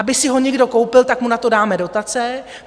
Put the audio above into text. Aby si ho někdo koupil, tak mu na to dáme dotace.